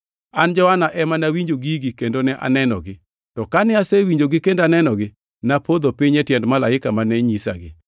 An, Johana ema nawinjo gigi kendo ne anenogi. To kane asewinjogi kendo nenogi, napodho piny e tiend malaika mane nyisagi.